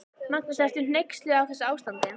Magnús: Ertu hneyksluð á þessu ástandi?